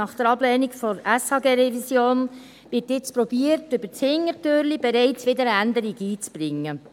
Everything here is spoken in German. Nach der Ablehnung der SHG-Revision wird jetzt versucht, über die Hintertüre bereits wieder eine Änderung einzubringen.